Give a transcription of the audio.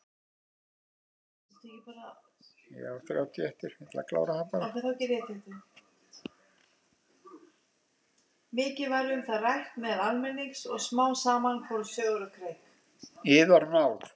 Yðar náð!